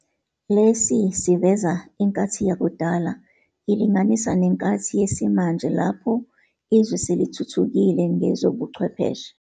Lesi siveza inkathi yakudala ilinganisa nenkathi yesimanje lapho izwe selithuthukile ngezobucwepheshe.